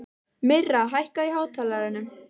Myrra, hækkaðu í hátalaranum.